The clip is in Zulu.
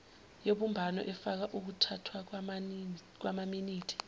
yobumbano efaka ukuthathwakwamaminithi